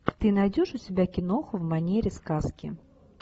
ты найдешь у себя киноху в манере сказки